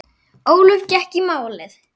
Ólöf gekk í málið.